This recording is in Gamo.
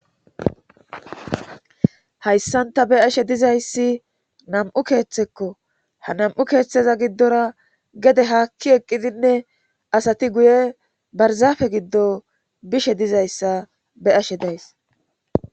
hayssanta be ashe dizayssi nam7u keeththekko ha nam7u keeththeza giddora gede haakki eqqidinne asati guye barzaafe giddo bishe dizayssa be ashe days